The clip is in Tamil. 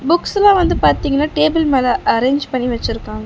புக்ஸ்லா வந்து பாத்தீங்கன்னா டேபிள் மேல அரேஞ்ச் பண்ணி வெச்சிருக்காங்க.